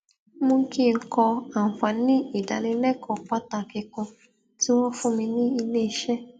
mú kí n kọ àǹfààní ìdánilékòó pàtàkì kan tí wón fún mi ní ilé iṣé